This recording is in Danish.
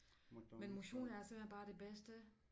Men motion er simpelthen bare det bedste